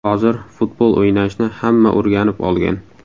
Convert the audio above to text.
Hozir futbol o‘ynashni hamma o‘rganib olgan.